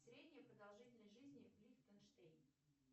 средняя продолжительность жизни в лихтенштейне